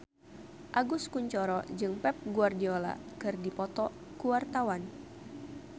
Agus Kuncoro jeung Pep Guardiola keur dipoto ku wartawan